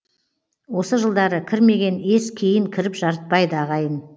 осы жылдары кірмеген ес кейін кіріп жарытпайды ағайын